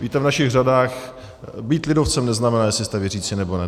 Víte, v našich řadách být lidovcem neznamená, jestli jste věřící, nebo ne.